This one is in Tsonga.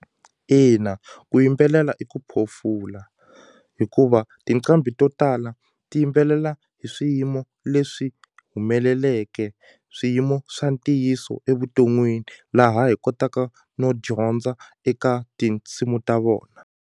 Ina ku yimbelela i ku phofula hikuva tinqambi to tala ti yimbelela hi swiyimo leswi humeleleke swiyimo swa ntiyiso evuton'wini laha hi kotaka no dyondza eka tinsimu ta vona.